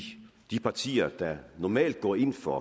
partier der normalt går ind for